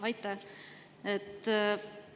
Aitäh!